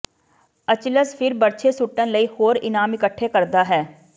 Achilles ਫਿਰ ਬਰਛੇ ਸੁੱਟਣ ਲਈ ਹੋਰ ਇਨਾਮ ਇਕੱਠੇ ਕਰਦਾ ਹੈ